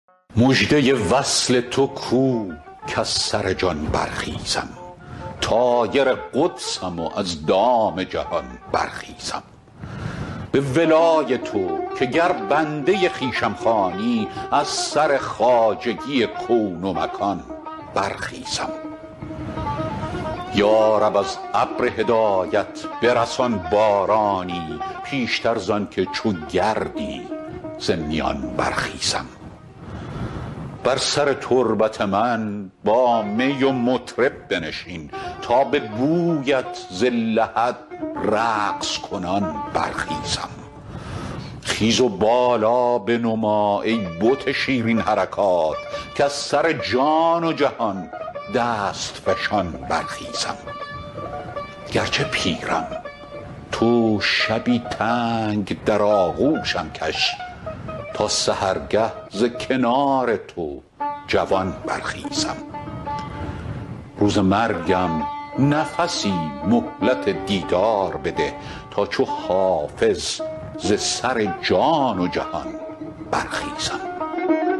مژده وصل تو کو کز سر جان برخیزم طایر قدسم و از دام جهان برخیزم به ولای تو که گر بنده خویشم خوانی از سر خواجگی کون و مکان برخیزم یا رب از ابر هدایت برسان بارانی پیشتر زان که چو گردی ز میان برخیزم بر سر تربت من با می و مطرب بنشین تا به بویت ز لحد رقص کنان برخیزم خیز و بالا بنما ای بت شیرین حرکات کز سر جان و جهان دست فشان برخیزم گرچه پیرم تو شبی تنگ در آغوشم کش تا سحرگه ز کنار تو جوان برخیزم روز مرگم نفسی مهلت دیدار بده تا چو حافظ ز سر جان و جهان برخیزم